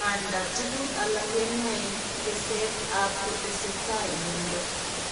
Nganda tuguk alak kenaen teset ab kotesetai miondo